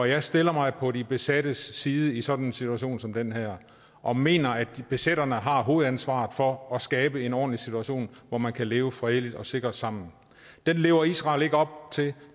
jeg stiller mig på de besattes side i sådan en situation som den her og mener at besætterne har hovedansvaret for at skabe en ordentlig situation hvor man kan leve fredeligt og sikkert sammen det lever israel ikke op til